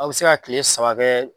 Aw bɛ se ka tile saba bɛɛ